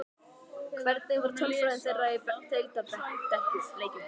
Hvernig er tölfræði þeirra í deildarleikjum?